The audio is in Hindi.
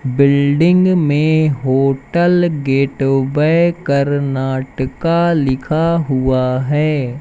बिल्डिंग में होटल गेटवे कर्नाटक लिखा हुआ है।